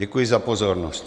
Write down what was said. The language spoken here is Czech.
Děkuji za pozornost.